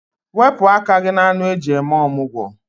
Wepụ aka gị na anụ eji eme ọmụgwọ.